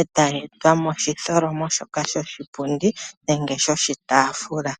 e ta yeyi tula momutholomo shoka shoshi pundi nenge shoshi taafula.